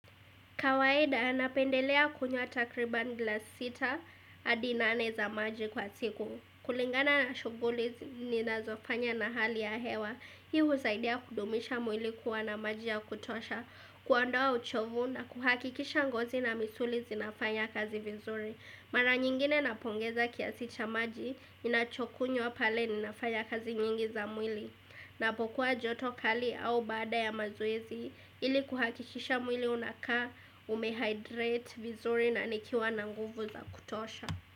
Kawaida, napendelea kunywa takriban glasi sita, hadi nane za maji kwa siku. Kulingana na shughuli ninazofanya na hali ya hewa. Hii husaidia kudumisha mwili kuwa na maji ya kutosha, kuondoa uchovu na kuhakikisha ngozi na misuli zinafanya kazi vizuri. Mara nyingine napongeza kiasi cha maji, inachokunywa pale ninafanya kazi nyingi za mwili. Napokuwa joto kali au baada ya mazoezi ili kuhakikisha mwili unakaa umehydrate vizuri na nikiwa na nguvu za kutosha.